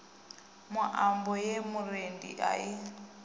muambo ye murendi a i